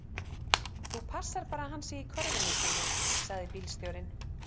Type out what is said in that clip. Þú passar bara að hann sé í körfunni sinni, sagði bílstjórinn.